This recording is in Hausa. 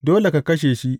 Dole ka kashe shi.